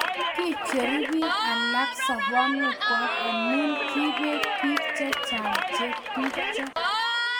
kiicheru biik alak sobonwekwak amu kiibet biik che chang' che tupcho